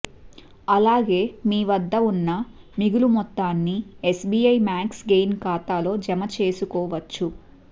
అలాగే మీ వద్ద ఉన్న మిగులు మొత్తాన్ని ఎస్బీఐ మ్యాక్స్ గెయిన్ ఖాతాలో జమ చేసుకోవచ్చు